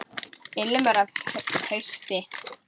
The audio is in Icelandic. Ilmur af hausti!